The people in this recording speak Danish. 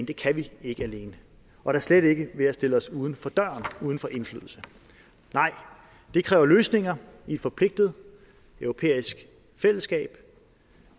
det kan vi ikke alene og da slet ikke ved at stille os uden for døren uden for indflydelse nej det kræver løsninger i et forpligtende europæisk fællesskab